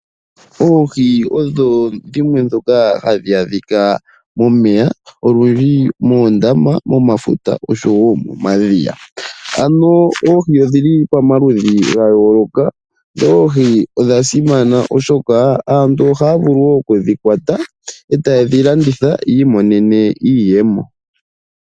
Oohi odho dhimwe ndhoka hadhi adhika momeya olundji moondama , momafuta oshowo momadhiya. Ano oohi odhili pamaludhi gayooloka. Oohi odha simana, oshoka aantu ohaya vulu woo okudhikwata etaye dhi landitha yiimonene mo iiyemo.